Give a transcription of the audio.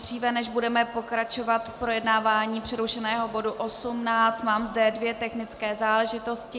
Dříve než budeme pokračovat v projednávání přerušeného bodu 18, mám zde dvě technické záležitosti.